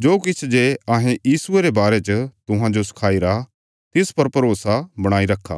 जो किछ जे अहें यीशुये रे बारे च तुहांजो सखाईरा तिस पर भरोसा बणाईने रखा